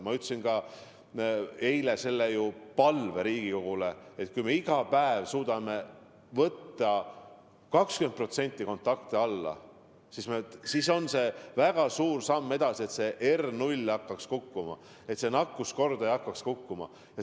Ma ütlesin ka eile selle palve Riigikogule, et kui me iga päev suudame 20% kontakte vähendada, siis on see väga suur samm edasi ja see R0, see nakatumiskordaja hakkab kukkuma.